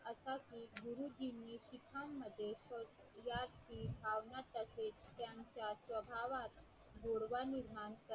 ज्याची भावना तशी त्याच्या स्वभावात गोडवा निर्माण करणे